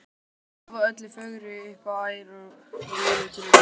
Og lofa öllu fögru upp á æru mína og trú.